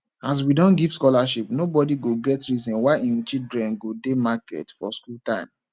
as we don give scholarship nobodi go get reason why im children go dey market for skool time